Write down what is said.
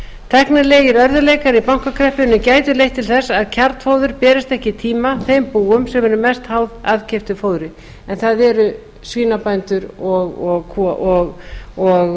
tæknilegir örðugleikar í bankakreppunni gætu leitt til þess að kjarnfóður berist ekki í tíma þeim búum sem eru mest háð aðkeyptu fóðri en það eru svínabændur og